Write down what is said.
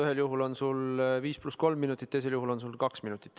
Ühel juhul on sul 5 + 3 minutit, teisel juhul on sul kaks minutit.